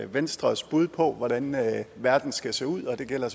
venstres bud på hvordan verden skal se ud og det gælder